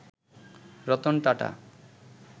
Ratan Tata